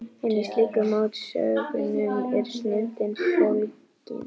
En í slíkum mótsögnum er snilldin fólgin.